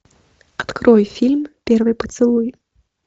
открой фильм первый поцелуй